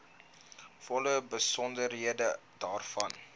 volle besonderhede daarvan